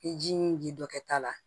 I ji min ji dɔ kɛ ta la